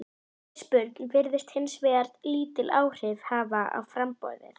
Eftirspurn virðist hins vegar lítil áhrif hafa á framboðið.